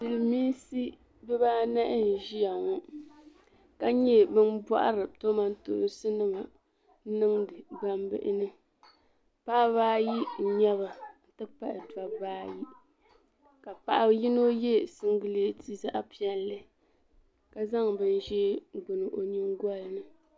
Silimiinsi bibaanahi n-ʒia ŋɔ ka nyɛ ban pɔhiri kamantoosi n-niŋdi gbambihi ni. Paɣiba ayi n-nyɛ ba nti pahi dɔbba ayi ka paɣ' yino ye siŋgileeti zaɣ' piɛlli ka zaŋ binʒee gbini o nyiŋgoli ni.